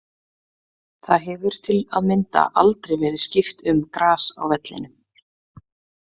Það hefur til að mynda aldrei verið skipt um gras á vellinum.